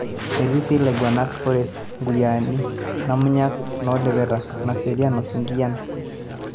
etii si ilaiguranak, kores(nkuyiani), Namunyak(noolepeta) , Naserian o Sinkiyian